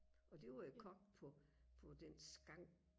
og det var jo kogt på på den skank